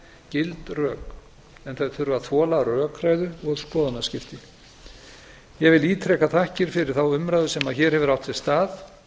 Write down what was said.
gild rök en þau þurfa að þola rökræðu og skoðanaskipti ég vil ítreka þakkir fyrir þá umræðu sem hér hefur átt sér stað